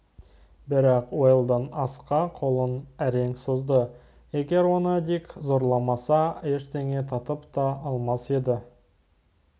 бірақ уэлдон асқа қолын әрең созды егер оны дик зорламаса ештеңе татып та алмас еді